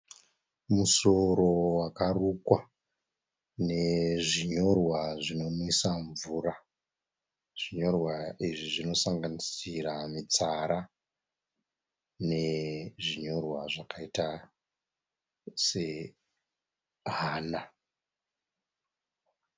Musoro wakarukwa nezvinyorwa zvinonwisa mvura. Zvinyorwa izvi zvinosanganisira mitsara nezvinyorwa zvakaita sehana.